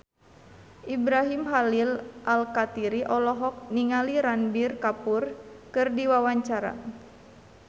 Ibrahim Khalil Alkatiri olohok ningali Ranbir Kapoor keur diwawancara